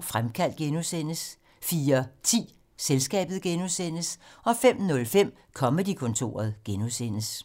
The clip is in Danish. Fremkaldt (G) 04:10: Selskabet (G) 05:05: Comedy-kontoret (G)